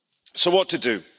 So, what to do?